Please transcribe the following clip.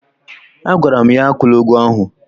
Agwara m ya, akwụla ụgwọ ahụ!